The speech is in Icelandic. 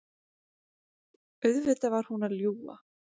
Auðvitað var hún að ljúga.